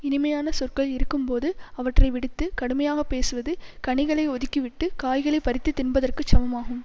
இனிமையான சொற்கள் இருக்கும்போது அவற்றை விடுத்துக் கடுமையாக பேசுவது கனிகளை ஒதுக்கி விட்டு காய்களை பறித்து தின்பதற்குச் சமமாகும்